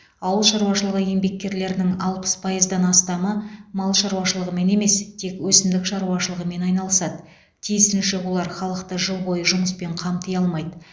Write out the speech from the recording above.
ауыл шаруашылығы еңбеккерлерінің алпыс пайыздан астамы мал шаруашылығымен емес тек өсімдік шаруашылығымен айналысады тиісінше олар халықты жыл бойы жұмыспен қамти алмайды